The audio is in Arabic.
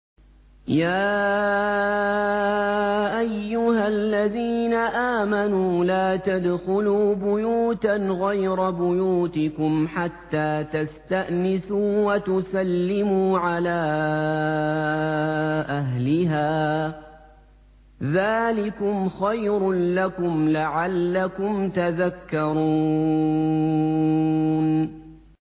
يَا أَيُّهَا الَّذِينَ آمَنُوا لَا تَدْخُلُوا بُيُوتًا غَيْرَ بُيُوتِكُمْ حَتَّىٰ تَسْتَأْنِسُوا وَتُسَلِّمُوا عَلَىٰ أَهْلِهَا ۚ ذَٰلِكُمْ خَيْرٌ لَّكُمْ لَعَلَّكُمْ تَذَكَّرُونَ